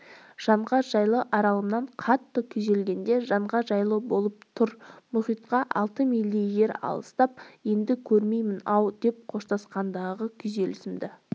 жанға жайлы аралымнан қатты күйзелгенде жанға жайлы болып тұр мұхитқа алты мильдей жер алыстап енді көрмеймін-ау деп қоштасқандағы күйзелісімді